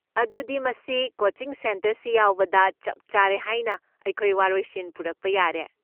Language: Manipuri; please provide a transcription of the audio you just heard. ꯑꯗꯨꯗꯤ, ꯃꯁꯤ ꯀꯣꯆꯤꯡ ꯁꯦꯟꯇꯔꯁꯤ ꯌꯥꯎꯕꯗ ꯆꯞ ꯆꯥꯔꯦ ꯍꯥꯏꯅ ꯑꯩꯈꯣꯏ ꯋꯥꯔꯣꯏꯁꯤꯟ ꯄꯨꯔꯛꯄ ꯌꯥꯔꯦ꯫